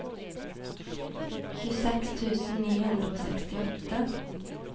tjueseks tusen ni hundre og sekstiåtte